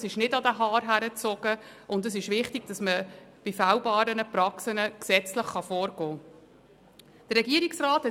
Sie sind nicht an den Haaren herbeigezogen, und es ist wichtig, dass man gegen fehlbare Praxen gesetzlich vorgehen kann.